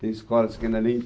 Tem escolas que ainda nem